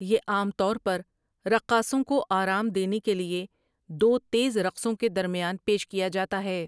یہ عام طور پر رقاصوں کو آرام دینے کے لیے دو تیز رقصوں کے درمیان پیش کیا جاتا ہے ۔